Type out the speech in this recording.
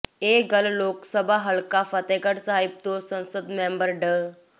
ਇਹ ਗੱਲ ਲੋਕ ਸਭਾ ਹਲਕਾ ਫ਼ਤਹਿਗੜ ਸਾਹਿਬ ਤੋਂ ਸੰਸਦ ਮੈਂਬਰ ਡਾ